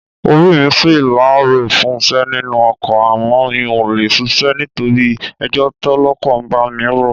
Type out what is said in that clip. Orí mi ṣí láàárọ̀ fúnṣẹ́ nínú ọkọ̀ àmọ́ mi ò lè ṣíṣe nítorí ẹjọ́ tọ́lọ́kọ̀ bá mi rò.